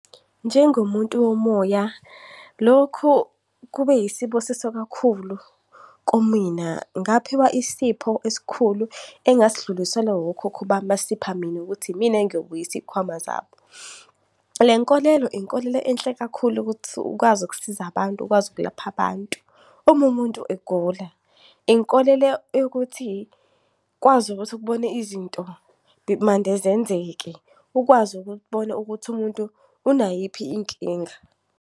Njengomuntu womoya, lokhu kube yisibusiso kakhulu kumina. Ngaphiwa isipho esikhulu engasidluliselwa wokhokho bami, basipha mina ukuthi yimina engiyobuyisa iy'khwama zabo. Le nkolelo, inkolelo enhle kakhulu ukuthi ukwazi ukusiza abantu, ukwazi ukulapha abantu uma umuntu egula. Inkolelo yokuthi ukwazi ukuthi ukubone izinto mande zenzeke, ukwazi ukubona ukuthi umuntu unayiphi inkinga.